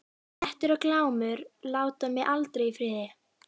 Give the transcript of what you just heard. Grettir og Glámur láta mig aldrei í friði.